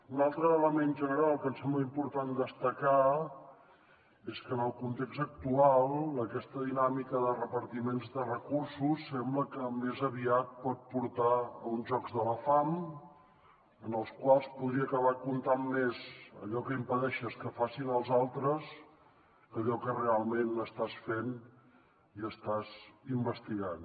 un altre element general que ens sembla important destacar és que en el context actual aquesta dinàmica de repartiments de recursos sembla que més aviat pot portar a uns jocs de la fam en els quals podria acabar comptant més allò que impedeixes que facin els altres que allò que realment estàs fent i estàs investigant